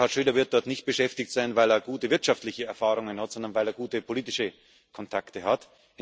Gerhard Schröder wird dort nicht beschäftigt sein, weil er gute wirtschaftliche Erfahrungen hat, sondern weil er gute politische Kontakte hat.